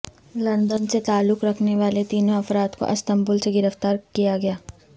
London سے تعلق رکھنے والے تینوں افراد کو استنبول سے گرفتار کیا گیا